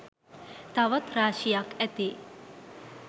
තවත් රාශියක් ඇති